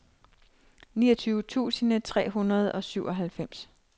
niogtyve tusind tre hundrede og syvoghalvfems